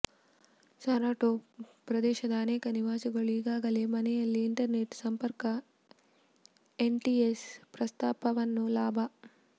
Saratov ಪ್ರದೇಶದ ಅನೇಕ ನಿವಾಸಿಗಳು ಈಗಾಗಲೇ ಮನೆಯಲ್ಲಿ ಇಂಟರ್ನೆಟ್ ಸಂಪರ್ಕ ಎಂಟಿಎಸ್ ಪ್ರಸ್ತಾಪವನ್ನು ಲಾಭ